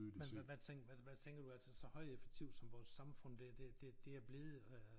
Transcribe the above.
Men men hvad altså hvad tænker du altså så højeffektivt som vores samfund det det det det er blevet øh